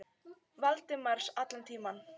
Valdimars allan tímann.